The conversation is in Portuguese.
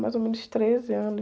Mais ou menos treze anos